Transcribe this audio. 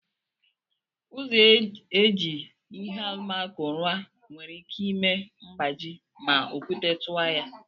Ụzọ eji ihe alụmako rụọ nwere ike ime mgbaji ma okwute tụọ ya..